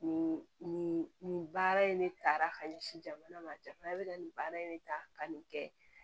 Nin nin nin baara in ne tara ka ɲɛsin jamana ma jamana bɛ ka nin baara in ne ta ka nin kɛ